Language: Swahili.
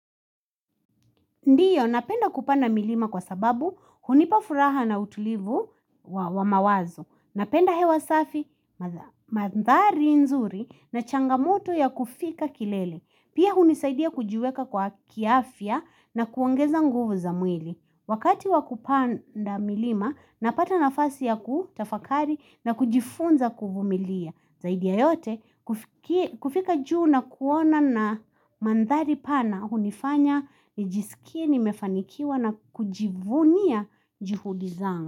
Ndiyo, napenda kupanda milima kwa sababu hunipa furaha na utulivu wa mawazo. Napenda hewa safi mandhari nzuri na changamoto ya kufika kilele. Pia hunisaidia kujiweka kiafia na kuongeza nguvu za mwili. Wakati wakupanda milima, napata nafasi ya kutafakari na kujifunza kuvumilia. Zaidi ya yote kufika juu na kuona na mandhari pana hunifanya nijisikie nimefanikiwa na kujivunia juhudi zangu.